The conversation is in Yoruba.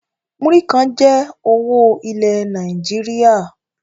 Múrí kàn jẹ owó ilẹ̀ Nàìjíríà